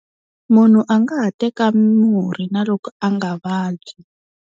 Munhu a nga ha teka murhi na loko a nga vabyi.